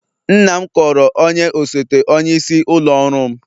Nna m kọọrọ onye osote onyeisi ụlọ ọrụ m